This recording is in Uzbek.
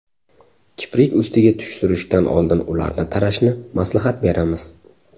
Kiprik ustiga tush surishdan oldin ularni tarashni maslahat beramiz.